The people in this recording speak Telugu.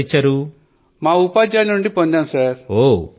మా ఉపాధ్యాయుల నుండి శిక్షణ ను స్వీకరించాము సర్